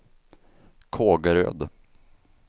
Kågeröd